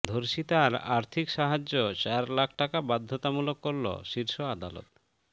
ধর্ষিতার আর্থিক সাহায্য চার লাখ টাকা বাধ্যতামূলক করল শীর্ষ আদালত